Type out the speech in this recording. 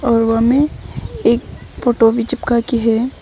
में एक फोटो भी चिपका की है।